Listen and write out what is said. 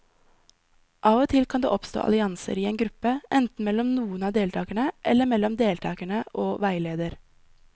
Av og til kan det oppstå allianser i en gruppe, enten mellom noen av deltakerne eller mellom deltakere og veileder.